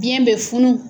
Biyɛn bɛ funu